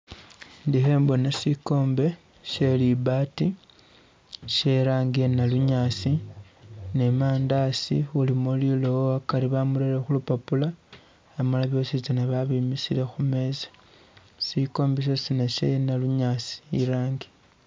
Ndi khembona shikombe she libanti she irangi iya nalunyaasi ne mandasi ulimo liloowo akari bamureye khulupapula amala byosi babimisile khumeza shikombe shositsana sha nalunyaasi irangi